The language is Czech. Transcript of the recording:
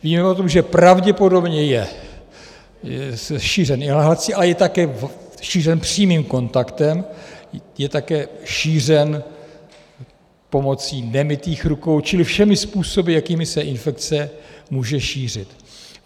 Víme o tom, že pravděpodobně je šířen inhalací a je také šířen přímým kontaktem, je také šířen pomocí nemytých rukou, čili všemi způsoby, jakými se infekce může šířit.